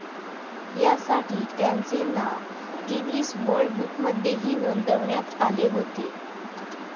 या साठी त्यांचे नाव गिनीज वर्ल्ड बुकमध्येही नोंदवण्यात आले होते.